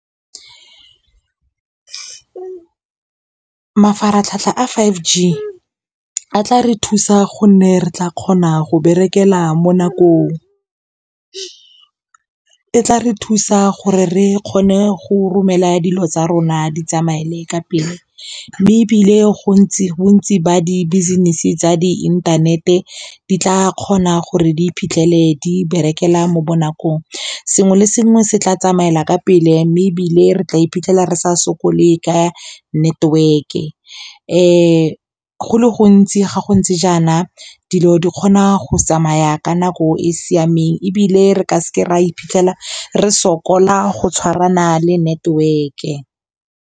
Mafaratlhatlha a five G a tla re thusa gonne re tla kgona go berekela mo nakong, e tla re thusa gore re kgone go romela dilo tsa rona di tsamaele ka pele mme ebile bontsi ba di business tsa di inthanete di tla kgona gore di iphitlhele di berekela mo bonakong, sengwe le sengwe se tla tsamaela ka pele mme ebile re tla iphitlhela re sa sokole ka network-e go le gontsi ga go ntse jaana dilo di kgona go tsamaya ka nako e e siameng ebile re ka se ke ra iphitlhela re sokola go tshwarana le network-e.